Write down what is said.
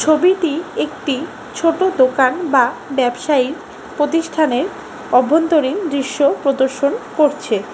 ছবিটি একটি ছোট দোকান বা ব্যবসায়ী প্রতিষ্ঠানের অভ্যন্তরীণ দৃশ্য প্রদর্শন করছে।